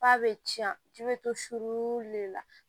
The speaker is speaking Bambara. F'a bɛ ci i bɛ to sulu de la